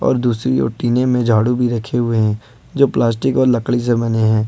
और दूसरी और टिने में झाड़ू भी रखे हुए हैं जो प्लास्टिक और लकड़ी से बने हैं।